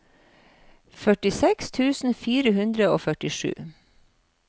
førtiseks tusen fire hundre og førtisju